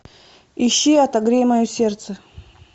ищи отогрей мое сердце